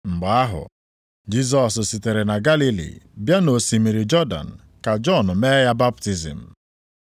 Mgbe ahụ, Jisọs sitere na Galili bịa nʼosimiri Jọdan ka Jọn mee ya baptizim.